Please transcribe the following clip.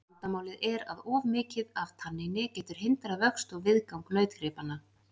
Vandamálið er að of mikið af tanníni getur hindrað vöxt og viðgang nautgripanna.